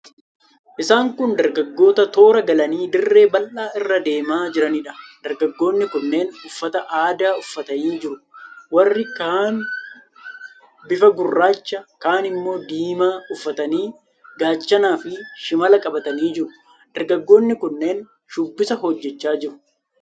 Isaan kun dargaggoota toora galanii dirree bal'aa irra deemaa jiraniidha. Dargaggoonni kunneen uffata aadaa uffatanii jiru. Warri kaan bifa gurraacha, kaan immoo diimaa uffatanii; gaachanaafi shimala qabatanii jiru. Dargaggoonni kunneen shubbisa hojjechaa jiru.